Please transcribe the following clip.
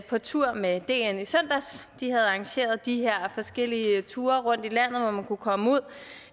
på tur med dn i søndags de har arrangeret de her forskellige ture rundt i landet hvor man kan komme ud